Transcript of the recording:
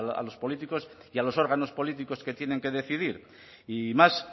a los políticos y a los órganos políticos que tienen que decidir y más